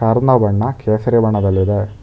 Car ನ ಬಣ್ಣ ಕೇಸರಿ ಬಣ್ಣದಲ್ಲಿದೆ.